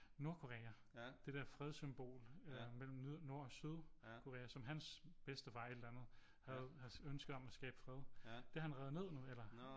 Nordkorea det der fred symbol øh mellem Nord og Sydkorea som hans bedstefar et eller andet havde ønsket om at skabe fred det har han revet ned nu eller